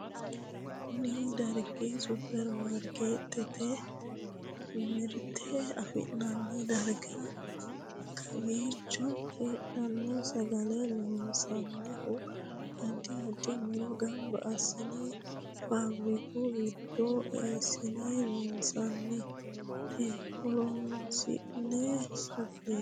Kunni dargi superimaarikeetete mirte afi'nanni dargaate. Kowiicho heedhano sagale loonsoonnihu addi addi muro gamba asinne faafiriku gidora eesinne loonsoonnite. Horoseno saga'lateeti.